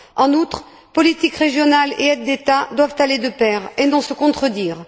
En outre, politique régionale et aides d'État doivent aller de pair et non se contrarier.